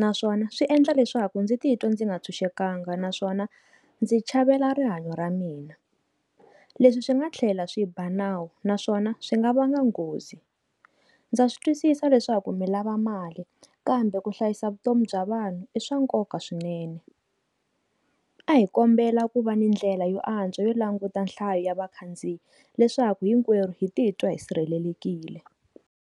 naswona swi endla leswaku ndzi titwa ndzi nga ntshunxekanga naswona ndzi chavela rihanyo ra mina leswi swi nga tlhela swiba nawu naswona swi nga va nga nghozi ndza swi twisisa leswaku mi lava mali kambe ku hlayisa vutomi bya vanhu i swa nkoka swinene a hi kombela ku va ni ndlela yo antswa yo languta nhlayo ya vakhandziyi leswaku hinkwerhu hi titwa hi sirhelelekile.